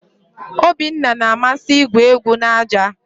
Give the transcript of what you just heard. Obinna na-amasị igwu egwu na aja.